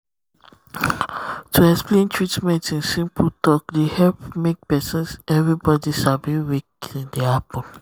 to explain um treatment in simple talk dey um help um make everybody sabi wetin dey happen